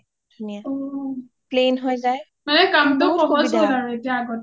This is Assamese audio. মানে কামটো সহজ হ’ল আৰু আগতকে এতিয়া